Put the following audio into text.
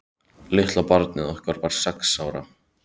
Litla barnið okkar var sex ára.